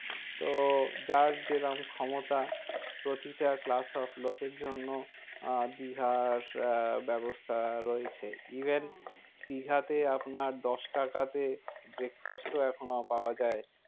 তো যার যে রকম ক্ষমতা প্রতিটা class of লোকের জন্য আহ দীঘার আহ ব্যবস্থা রয়েছে even দীঘাতে আপনার দশ টাকাতে breakfast ও এখনো পাওয়া যায়।